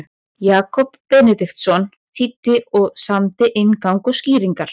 Jakob Benediktsson þýddi og samdi inngang og skýringar.